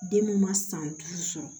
Den mun ma san duuru sɔrɔ